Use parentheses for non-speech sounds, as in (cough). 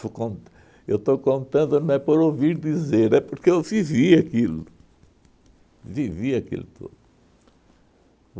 Estou con eu estou contando, não é por ouvir dizer, (laughs) é porque eu vivi aquilo, vivi aquilo tudo.